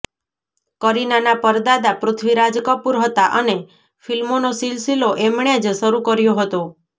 કરીનાના પરદાદા પૃથ્વીરાજ કપૂર હતા અને ફિલ્મોનો સિલસિલો એમણે જ શરૂ કર્યો હતો